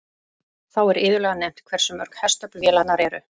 Þá er iðulega nefnt hversu mörg hestöfl vélarnar eru.